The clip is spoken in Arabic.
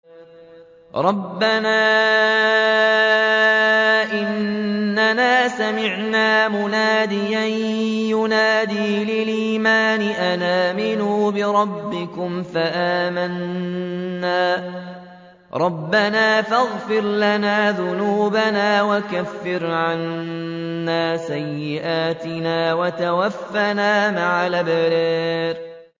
رَّبَّنَا إِنَّنَا سَمِعْنَا مُنَادِيًا يُنَادِي لِلْإِيمَانِ أَنْ آمِنُوا بِرَبِّكُمْ فَآمَنَّا ۚ رَبَّنَا فَاغْفِرْ لَنَا ذُنُوبَنَا وَكَفِّرْ عَنَّا سَيِّئَاتِنَا وَتَوَفَّنَا مَعَ الْأَبْرَارِ